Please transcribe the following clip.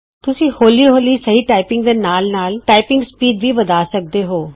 ਤੁਸੀਂ ਹੌਲੀ ਹੌਲੀ ਸਹੀ ਟਾਈਪਿੰਗ ਦੇ ਨਾਲ ਨਾਲ ਟਾਈਪਿੰਗ ਸਪੀਡ ਵੀ ਵੱਧਾ ਸਕਦੇ ਹੋ